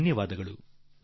ಅನಂತ ವಂದನೆಗಳು